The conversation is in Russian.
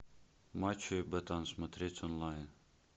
мачо и ботан смотреть онлайн